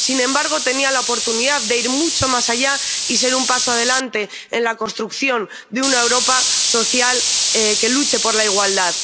Sin embargo, tenía la oportunidad de ir mucho más allá y ser un paso adelante en la construcción de una Europa social que luche por la igualdad.